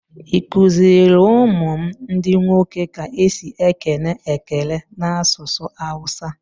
I kuziri ụmụ m ndi nwoke ka esi ekene ekele n'asụsụ awusa?